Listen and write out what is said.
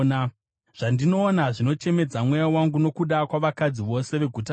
Zvandinoona zvinochemedza mweya wangu, nokuda kwavakadzi vose veguta rangu.